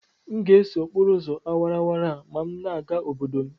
M ga-eso okporo ụzọ awara awara a ma m na-aga obodo m